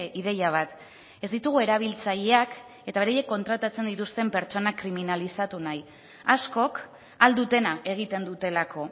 ideia bat ez ditugu erabiltzaileak eta beraiek kontratatzen dituzten pertsonak kriminalizatu nahi askok ahal dutena egiten dutelako